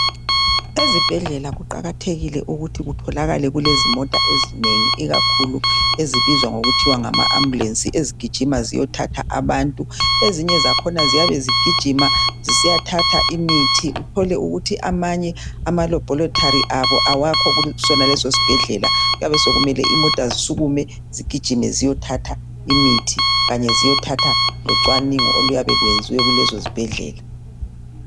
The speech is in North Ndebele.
Ezibhedlela kuqakathekile ukuthi kutholakale kulezimota ezinengi ikakhulu ezibizwa kuthiwa ngamaambulensi ezigijima ziyothatha abantu. Ezinye zakhona ziyabe zigijima zisiya thatha imithi uthole ukuthi amanye amalabhorethari abo awakho kulesosibhedlela. Kuyabe sokumele imota zisukume zigijime ziyethatha imithi kanye ziyethatha locwaningo oluyabee kuyenzwe kulezo zibhedlela.